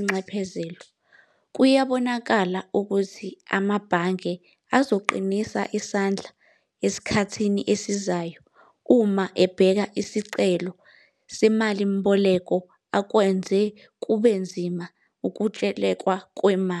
SA Umlimi woNyaka beqokwa khona.